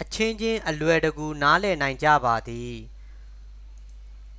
အချင်းချင်း အလွယ်တကူ နားလည်နိုင်ကြပါသည်